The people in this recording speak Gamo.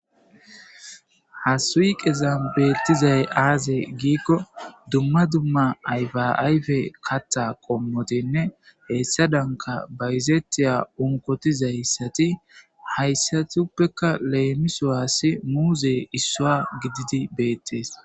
Ha suyqezan beeththizay aazee giikko dumma dumma ayfaa ayfee kaththaa qommothinne heyssadankka bayzeththiya unkkothizayssathi hayssathuppekka leemisuwaassi muuzee issuwaa gididi beeththes.